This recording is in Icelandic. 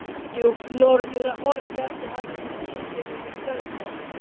Djúpt norður af Hornbjargi hafði skipið verið stöðvað.